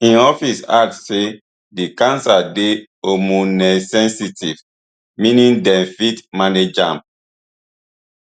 im office add say di cancer dey hormonesensitive meaning dem fit manage am